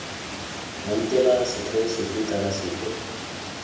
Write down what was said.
boutela setheo sefe kana sefe